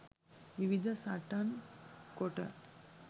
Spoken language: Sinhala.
විවිධ සටන් කොට